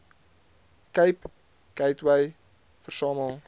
cape gateway versamel